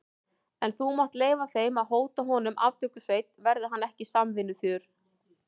En þú mátt leyfa þeim að hóta honum aftökusveit, verði hann ekki samvinnuþýður.